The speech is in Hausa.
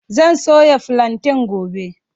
Zan soya filanten gobe.